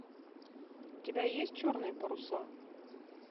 у тебя есть черные паруса